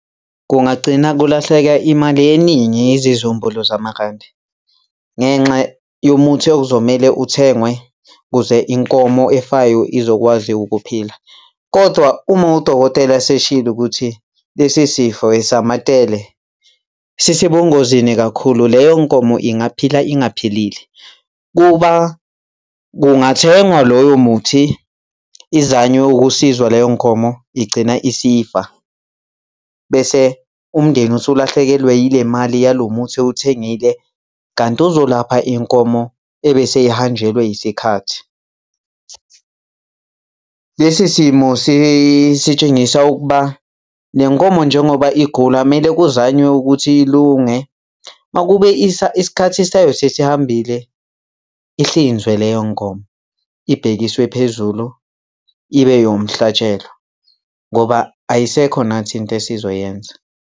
Kungagcina kulahleka imali eningi izizumbulu zamarandi ngenxa yomuthi okuzomele uthengwe kuze inkomo efayo izokwazi ukuphila. Kodwa uma udokotela eseshilo ukuthi lesi sifo esamatele, sisebungozini kakhulu, leyo nkomo ingaphila ingaphilile. Kuba kungathengwa lowo muthi izanwe ukusizwa leyo nkomo igcina isifa bese umndeni uselahlekelwe yile mali yalo muthi ewuthengile kanti uzolapha inkomo ebese ihanjelwe yisikhathi. Lesi simo sitshengisa ukuba le nkomo njengoba igula, kumele kuzanywe ukuthi ilunge. Uma kube isikhathi sayo sesihambile ihlinzwe leyo nkomo ibhekiswe phezulu, ibe eyomhlatshelo ngoba ayisekho nathi into esizoyenza.